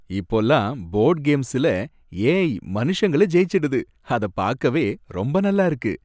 இப்போல்லாம் போர்டு கேம்ஸ்ல ஏ.ஐ. மனுஷங்கள ஜெயிச்சிடுது, அத பார்க்கவே ரொம்ப நல்லா இருக்கு.